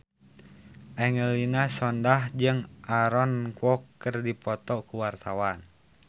Angelina Sondakh jeung Aaron Kwok keur dipoto ku wartawan